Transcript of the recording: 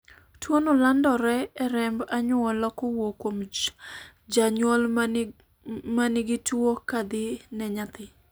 tuono landre e remb anyuola kowuok kuom janyuol manigi tuo kadhi ne nyathi